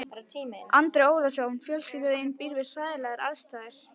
Andri Ólafsson: Fjölskylda þín býr við hræðilegar aðstæður?